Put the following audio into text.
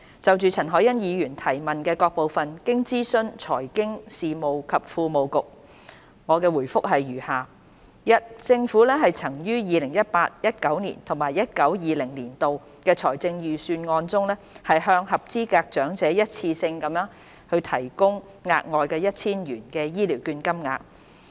就陳凱欣議員質詢的各部分，經諮詢財經事務及庫務局，我的答覆如下：一政府曾於 2018-2019 年度及 2019-2020 年度的財政預算案中，向合資格長者一次性地提供額外 1,000 元醫療券金額。